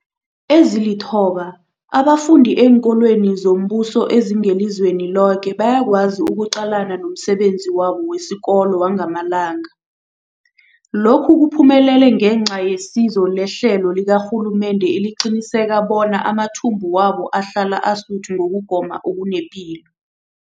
Ezilithoba abafunda eenkolweni zombuso ezingelizweni loke bayakwazi ukuqalana nomsebenzi wabo wesikolo wangamalanga. Lokhu kuphumelele ngenca yesizo lehlelo likarhulumende eliqinisekisa bona amathumbu wabo ahlala asuthi ukugoma okunepilo.